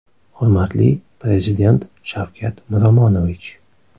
Hurmatli Prezident Shavkat Miromonovich.